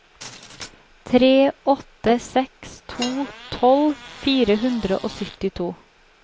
tre åtte seks to tolv fire hundre og syttito